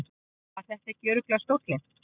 Var þetta ekki örugglega stóllinn?